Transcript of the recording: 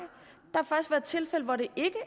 der tilfælde hvor det ikke